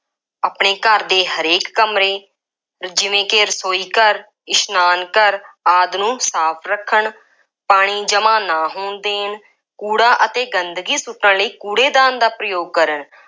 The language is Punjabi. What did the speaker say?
ਆਪਣੇ ਘਰ ਦੇ ਹਰੇਕ ਕਮਰੇ ਜਿਵੇਂ ਕਿ ਰਸੋਈ ਘਰ, ਇਸ਼ਨਾਨ ਘਰ ਆਦਿ ਨੂੰ ਸਾਫ ਰੱਖਣ, ਪਾਣੀ ਜਮ੍ਹਾ ਨਾ ਹੋਣ ਦੇਣ, ਕੂੜਾ ਅਤੇ ਗੰਦਗੀ ਸੁੱਟਣ ਲਈ ਕੂੜੇ ਦਾਨ ਦਾ ਪ੍ਰਯੋਗ ਕਰਨ,